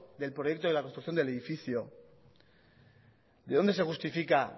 del proyecto de la construcción del edificio de dónde se justifica